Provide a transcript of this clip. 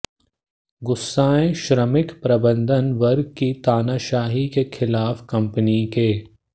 गुस्साए श्रमिक प्रबंधन वर्ग की तानाशाही के खिलाफ कंपनी के